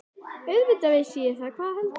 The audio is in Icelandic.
Auðvitað vissi ég það, hvað heldurðu!